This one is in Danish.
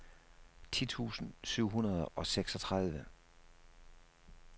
ti tusind syv hundrede og seksogtredive